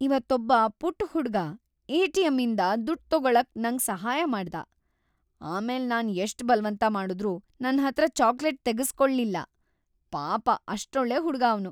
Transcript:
ಇವತ್ತೊಬ್ಬ ಪುಟ್ಟ್ ಹುಡ್ಗ ಎ.ಟಿ.ಎಂ.ಇಂದ ದುಡ್ಡ್‌ ತಗೊಳಕ್ಕೆ ನಂಗ್‌ ಸಹಾಯ ಮಾಡ್ದ, ಆಮೇಲ್ ನಾನ್‌ ಎಷ್ಟ್ ‌ಬಲ್ವಂತ ಮಾಡುದ್ರೂ ನನ್ಹತ್ರ ಚಾಕ್ಲೇಟ್‌ ತೆಗುಸ್ಕೊಲ್ಲಿಲ್ಲ. ಪಾಪ ಅಷ್ಟ್‌ ಒಳ್ಳೆ ಹುಡ್ಗ ಅವ್ನು.